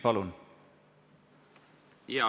Palun!